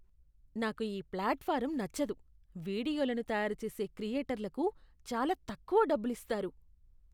నాకు ఈ ప్లాట్ఫారమ్ నచ్చదు. వీడియోలను తయారుచేసే క్రియేటర్లకు చాలా తక్కువ డబ్బులిస్తారు.